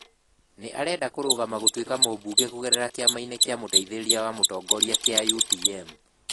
Nĩ arenda kũrũgama gũtuĩka mũbunge kũgerera kĩama-inĩ kĩa mũteithĩrĩria wa mũtongoria kia UTM.